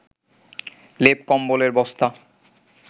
লেপ কম্বলের বস্তা